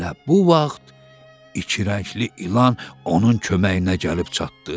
Elə bu vaxt iki rəngli ilan onun köməyinə gəlib çatdı.